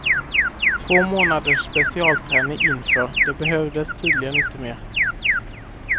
Två månaders specialträning inför, det behövdes tydligen inte mer.